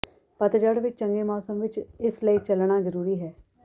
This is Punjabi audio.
ਪਤਝੜ ਵਿਚ ਚੰਗੇ ਮੌਸਮ ਵਿਚ ਇਸ ਲਈ ਚੱਲਣਾ ਜ਼ਰੂਰੀ ਹੈ